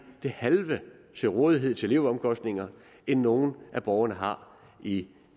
det halve til rådighed til leveomkostninger end nogen af borgerne har i